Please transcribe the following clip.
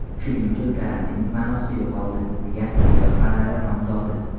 Shuning uchun karantinning ma’nosi yo‘qoldi”, degan tibbiyot fanlari nomzodi.